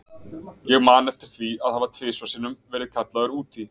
Ég man eftir því að hafa tvisvar sinnum verið kallaður út í